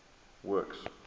works